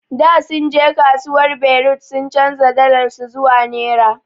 Da sunje kasuwar berut sun chanja dalar su zuwa naira.